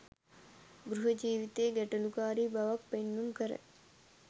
ගෘහ ජීවිතයේ ගැටලුකාරී බවක් පෙන්නුම් කරයි.